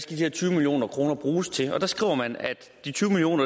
de her tyve million kroner skal bruges til der skriver man at de tyve million